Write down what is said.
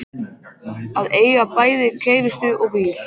Að eiga bæði kærustu og bíl.